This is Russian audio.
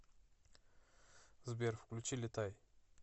сбер включи летай